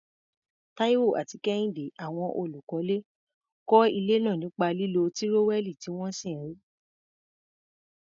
Taiwo àti Kehinde, àwọn olùkọ́lé, kọ́ ilé náà nípa lílo tírówẹ́ẹ̀lì tí wọ́n sì rí i.